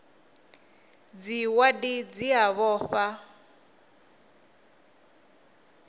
dza wadi dzi a vhofha